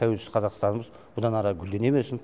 тәуелсіз қазақстанымыз бұдан ары гүлдене берсын